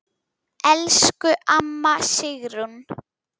Elsku amma Sigrún.